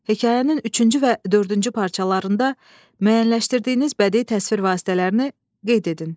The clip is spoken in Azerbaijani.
Hekayənin üçüncü və dördüncü parçalarında müəyyənləşdirdiyiniz bədii təsvir vasitələrini qeyd edin.